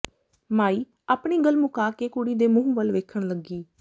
ਮਾਈ ਆਪਣੀ ਗੱਲ ਮੁਕਾ ਕੇ ਕੁੜੀ ਦੇ ਮੂੰਹ ਵੱਲ ਵੇਖਣ ਲੱਗੀ